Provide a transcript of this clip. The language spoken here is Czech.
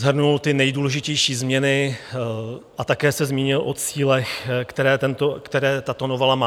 Shrnul ty nejdůležitější změny a také se zmínil o cílech, které tato novela má.